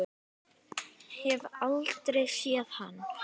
Hef aldrei séð hann.